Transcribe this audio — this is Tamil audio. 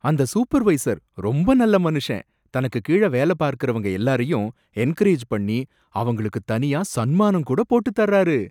அந்த சூப்பர்வைசர் ரொம்ப நல்ல மனுஷன், தனக்கு கீழ வேல பார்க்கரவங்க எல்லாரையும் என்கரேஜ் பண்ணி அவங்களுக்கு தனியா சன்மானம் கூட போட்டுத் தர்றாரு